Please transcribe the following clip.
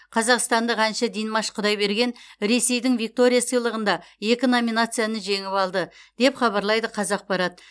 қазақстандық әнші димаш құдайберген ресейдің виктория сыйлығында екі номинацияны жеңіп алды деп хабарлайды қазақпарат